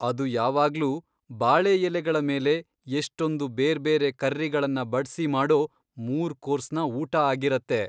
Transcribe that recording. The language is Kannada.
ಅದು ಯಾವಾಗ್ಲೂ ಬಾಳೆ ಎಲೆಗಳ ಮೇಲೆ ಎಷ್ಟೊಂದು ಬೇರ್ಬೇರೆ ಕರ್ರಿಗಳನ್ನ ಬಡ್ಸಿ ಮಾಡೋ ಮೂರ್ ಕೋರ್ಸ್ನ ಊಟ ಆಗಿರತ್ತೆ.